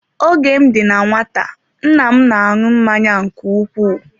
Oge m dị na ụmụaka nna m na-aṅụ mmanya nke ukwuu.